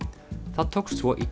það tókst svo í